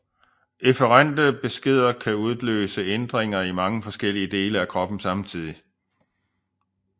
Efferente beskeder kan udløse ændringer i mange forskellige dele af kroppen samtidig